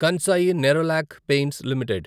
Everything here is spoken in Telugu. Kansai Nerolac Paints limited